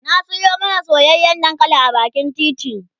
na Sayo mana soyayyan dankali a bakin titi